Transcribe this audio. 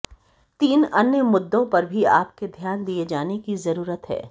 तीन अन्य मुद्दों पर भी आपके ध्यान दिए जाने की जरूरत है